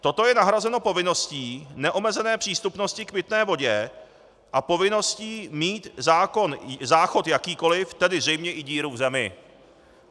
Toto je nahrazeno povinností neomezené přístupnosti k pitné vodě a povinností mít záchod jakýkoliv, tedy zřejmě i díru v zemi.